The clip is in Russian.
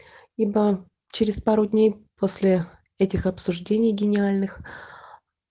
ибо через пару дней после этих обсуждений гениальных